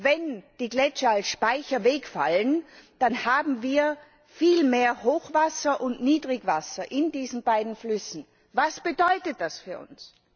Wenn die Gletscher als Speicher wegfallen, dann haben wir viel mehr Hochwasser und Niedrigwasser in diesen beiden Flüssen. Was bedeutet das für uns?